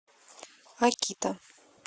акита